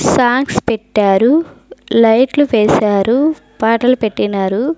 Songs పెట్టారు లైట్లు వేశారు పాటలు పెట్టినారు.